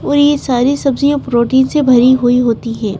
और यह सारी सब्जियां प्रोटीन से भरी हुई होती हैं।